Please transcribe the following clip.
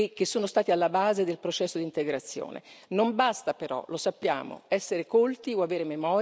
Non basta, però, lo sappiamo, essere colti o avere memoria per essere esenti da rischi.